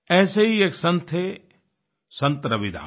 ऐसे ही एक संत थे संत रविदास